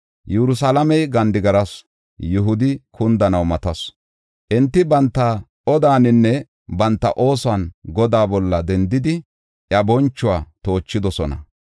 Yerusalaamey gandigarasu; Yihudi kundanaw matasu; enti banta odaaninne banta oosuwan Godaa bolla dendidi, iya bonchuwa toochidosona.